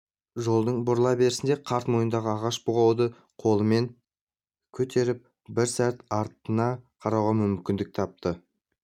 жолдың бұрыла берісінде қарт мойнындағы ағаш бұғауды қолымен көтеріп бір сәт артына қарауға мүмкіндік тапты